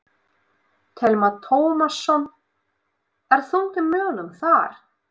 Telma Tómasson: Er þungt í mönnum þar?